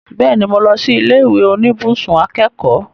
Bẹ́ẹ̀ni, mo lọ sí ilé ìwé oníbùsùn akẹ́kọ̀ọ́